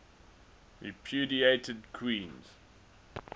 repudiated queens